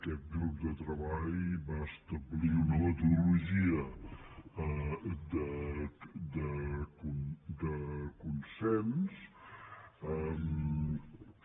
aquest grup de treball va establir una metodologia de consens que